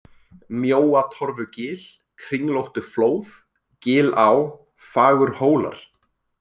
Mjóatorfugil, Kringlóttuflóð, Gilá, Fagurhólar